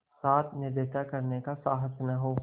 साथ ऐसी निर्दयता करने का साहस न हो